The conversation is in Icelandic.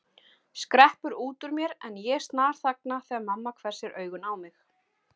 skreppur út úr mér en ég snarþagna þegar mamma hvessir augun á mig.